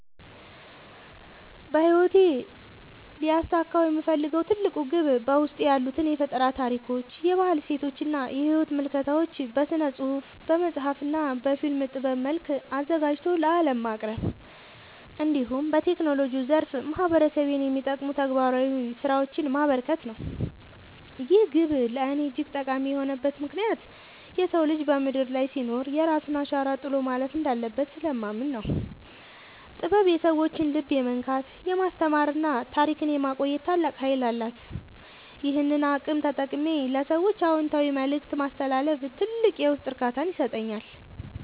በሕይወቴ ሊያሳካው የምፈልገው ትልቁ ግብ በውስጤ ያሉትን የፈጠራ ታሪኮች፣ የባህል እሴቶችና የሕይወት ምልከታዎች በሥነ-ጽሑፍ (በመጽሐፍ) እና በፊልም ጥበብ መልክ አዘጋጅቶ ለዓለም ማቅረብ፣ እንዲሁም በቴክኖሎጂው ዘርፍ ማኅበረሰቤን የሚጠቅሙ ተግባራዊ ሥራዎችን ማበርከት ነው። ይህ ግብ ለእኔ እጅግ ጠቃሚ የሆነበት ምክንያት የሰው ልጅ በምድር ላይ ሲኖር የራሱን አሻራ ጥሎ ማለፍ እንዳለበት ስለማምን ነው። ጥበብ የሰዎችን ልብ የመንካት፣ የማስተማርና ታሪክን የማቆየት ታላቅ ኃይል አላት፤ ይህንን አቅም ተጠቅሜ ለሰዎች አዎንታዊ መልእክት ማስተላለፍ ትልቅ የውስጥ እርካታን ይሰጠኛል።